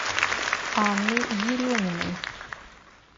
анны ереминой